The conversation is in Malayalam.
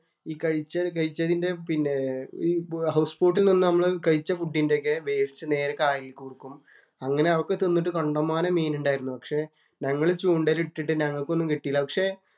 ഈ കഴിച്ച കഴിച്ചതിന്‍റെ പിന്നെ ഹൗസ് ബോട്ട് നിന്ന് നമ്മൾ കഴിച്ച ഫുഡിന്‍റെ ഒക്കെ വേസ്റ്റ് നേരെ കായലിലേക്ക് കൊടുക്കും. അങ്ങനെ അതൊക്കെ തിന്നിട്ടു കണ്ടമാനം മീനുണ്ടായിരുന്നു. പക്ഷേ ഞങ്ങൾ ചൂണ്ടയിൽ ഇട്ടിട്ട് ഞങ്ങൾക്കൊന്നും കിട്ടിയില്ല. പക്ഷെ